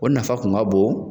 O nafa kun ka bon